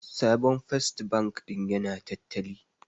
Sabon First bank din ya na tattali